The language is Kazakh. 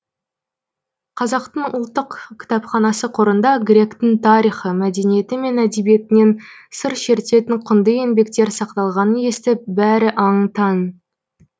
қазақтың ұлттық кітапханасы қорында гректің тарихы мәдениеті мен әдебиетінен сыр шертетін құнды еңбектер сақталғанын естіп бәрі аң таң